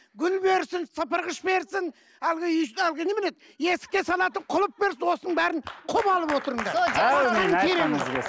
гүл берсін сыпырғыш берсін әлгі әлгі немене еді есікке салатын құлып берсін осының бәрін құп алып отырыңдар